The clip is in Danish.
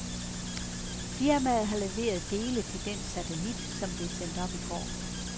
Firmaet har leveret dele til den satellit, som blev sendt op i går.